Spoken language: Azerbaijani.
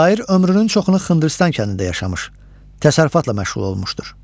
Şair ömrünün çoxunu Xındırıstan kəndində yaşamış, təsərrüfatla məşğul olmuşdur.